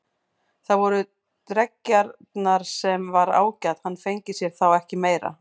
Það voru dreggjarnar, sem var ágætt, hann fengi sér þá ekki meira.